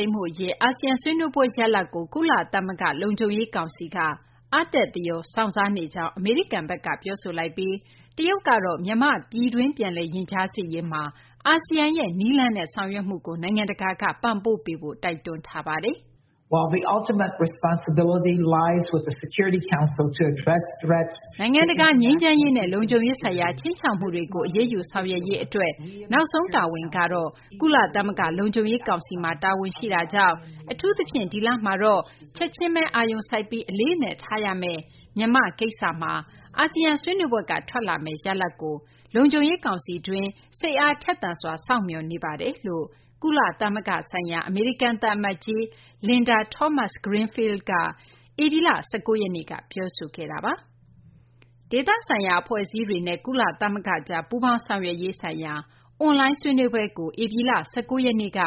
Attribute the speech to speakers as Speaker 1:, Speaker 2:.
Speaker 1: ိမ်းမှု အရေး အာဆီယံ ဆွေးနွေးပွဲ ရလဒ်ကို ကုလသမဂ္ဂ လုံခြုံရေး ကောင်စီက အားတက်သရော စောင့်စားနေကြောင်း အမေရိကန်ဘက်က ပြောဆိုလိုက်ပြီး တရုတ်ကတော့ မြန်မာ့ ပြည်တွင်း ပြန်လည် ရင်ကြားစေ့ရေးမှာ အာဆီယံရဲ့ နည်းလမ်းနဲ့ ဆောင်ရွက်မှုကို နိုင်ငံတကာက ပံ့ပိုးပေးဖို့ တိုက်တွန်းထားပါတယ်။ “ နိုင်ငံတကာ ငြိမ်းချမ်းရေးနဲ့ လုံခြုံရေးဆိုင်ရာ ခြိမ်းခြောက်မှုတွေကို အရေးယူ ဆောင်ရွက်ရေး အတွက် နောက်ဆုံး တာဝန်ကတော့ ကုလသမဂ္ဂ လုံခြုံရေး ကောင်စီမှာ တာဝန်ရှိတာကြောင့် အထူးသဖြင့် ဒီလမှာတော့ ချက်ချင်း အာရုံစိုက်ပြီး အလေးအနက်ထားရမယ့် မြန်မာ့ ကိစ္စမှာ အာဆီယံ ဆွေးနွေးပွဲက ထွက်လာမယ့် ရလဒ်ကို လုံခြုံရေး ကောင်စီတွင်းမှာ စိတ်အားထက်သန်စွာ စောင့်မျှော်နေပါတယ်” လို့ ကုလသမဂ္ဂ ဆိုင်ရာ အမေရိကန် သံအမတ်ကြီး Linda Thomas-Greenfield က ဧပြီလ ၁၉ ရက်နေ့က ပြောဆိုခဲ့ပါတယ်။ ဒေသဆိုင်ရာ အဖွဲ့အစည်းတွေနဲ့ ကုလသမဂ္ဂကြား ပူးပေါင်းဆောင်ရွက်ရေးဆိုင်ရာ အွန်လိုင်း ဆွေးနွေးပွဲကို ဧပြီလ ၁၉ ရက်နေ့က